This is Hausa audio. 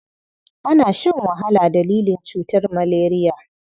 Ana shan wahala dalilin cutar maleriya.